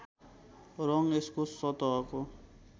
रङ यसको सतहको